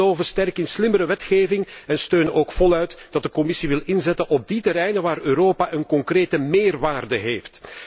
Wij geloven sterk in slimmere wetgeving en steunen ook voluit dat de Commissie wil inzetten op die terreinen waar Europa een concrete meerwaarde heeft.